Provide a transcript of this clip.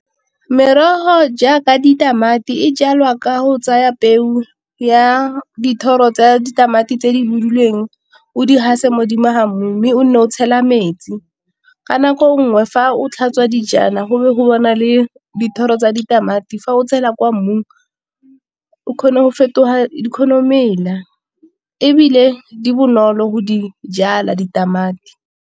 Merogo jaaka ditamati e jalwa ka go tsaya peu ya dithoro tse ditamati tse di buduleng o di gase modimo ga mmu, mme o nne o tshela metsi. Ka nako nngwe fa o tlhatswa dijana go be go le dithoro tsa ditamati fa o tshela kwa mmung, o kgona go fetoga di kgona go Mela, ebile di bonolo go di jala ditamati.